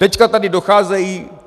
Teď tady docházejí.